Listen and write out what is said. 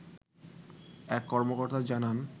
এক কর্মকর্তা জানান